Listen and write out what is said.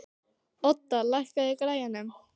Odda, lækkaðu í græjunum.